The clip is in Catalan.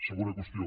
segona qüestió